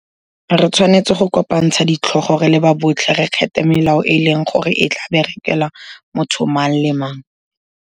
Re tshwanetse go kopantsha ditlhogo re le ba botlhe, re kgethe melao e e leng gore e tla berekela motho mang le mang.